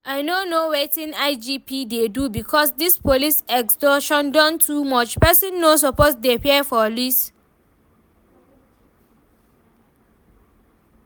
I no know wetin IGP dey do because dis police extortion don too much, person no suppose dey fear police